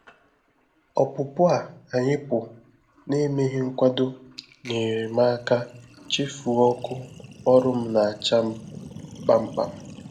Ọpụpụ a ànyị pụrụ na emeghị mkwado nyeere m aka chefuo ọkụ ọrụ m na acha m kpamkpam